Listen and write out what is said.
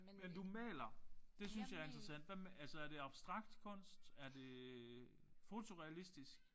Men du maler. Det synes jeg er interessant. Hvad altså er det abstrakt kunst er det fotorealistisk?